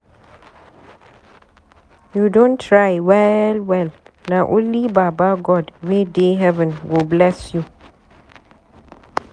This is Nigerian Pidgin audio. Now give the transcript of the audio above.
You don try well-well, na only baba God wey dey heaven go bless you.